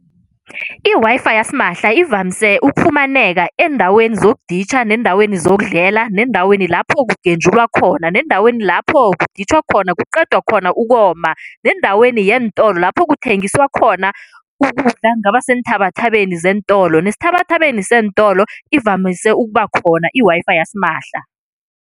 I-Wi-Fi yasimahla ivamise ukufumaneka eendaweni zokuditjha, neendaweni zokudlela, neendaweni lapho kugenjulwa khona, neendaweni lapho kuditjhwa khona kuqeda khona ukoma, neendaweni yeentolo lapho kuthengiswa khona ukudla kungaba seenthabathabeni zeentolo nesithabathabeni seentolo ivamise ukuba khona i-Wi-Fi yasimahla.